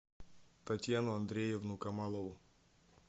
татьяну андреевну камалову